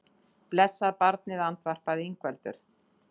Blessað barnið, andvarpaði Ingveldur.